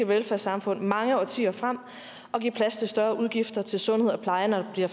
velfærdssamfund mange årtier frem og give plads til større udgifter til sundhed og pleje når der